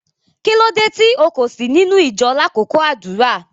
Kilódé tí o kò sí nínu ìjọ̀ lákọkọ àdúrà?